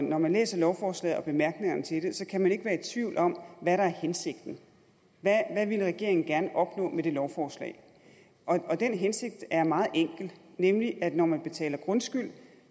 når man læser lovforslaget og bemærkningerne til det så kan man ikke være i tvivl om hvad der er hensigten hvad regeringen gerne ville opnå med det lovforslag og den hensigt er meget enkel nemlig at når man betaler grundskyld